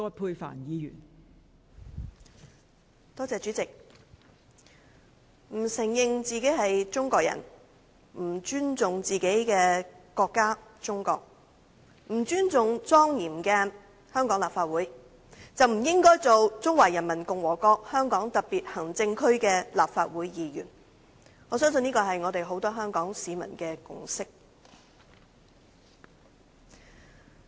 代理主席，不承認自己是中國人、不尊重自己的國家——中國、不尊重莊嚴的香港立法會，便不應該擔任中華人民共和國香港特別行政區的立法會議員，我相信這是很多香港市民的共識。